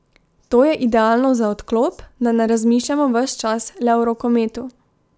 To je idealno za odklop, da ne razmišljamo ves čas le o rokometu.